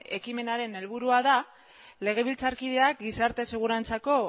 ekimenaren helburua da legebiltzarkideak gizarte segurantzako